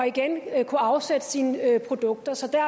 igen kan afsætte sine produkter så der